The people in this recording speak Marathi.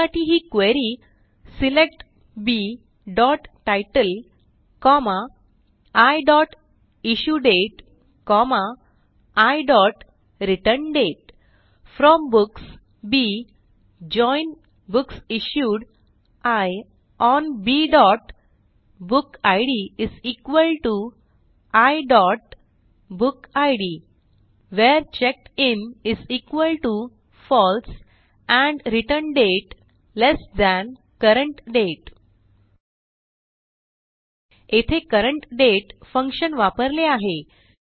त्यासाठी ही क्वेरी सिलेक्ट bतितले कॉमा iइश्युडेट iरिटर्न्डेट from books B join books issued I on bबुकिड iबुकिड where checked in false and returned date less than CURRENT DATE येथे CURRENT DATE फंक्शन वापरले आहे